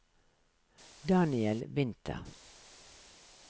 Daniel Winther